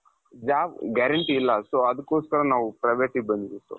job guarantee ಇಲ್ಲ so ಅದುಕ್ಕೋಸ್ಕರ ನಾವು privateಗೆ ಬಂದಿದ್ದು.